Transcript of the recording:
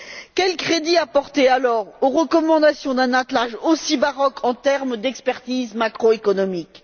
Quel crédit apporter alors aux recommandations d'un attelage aussi baroque en termes d'expertise macroéconomique?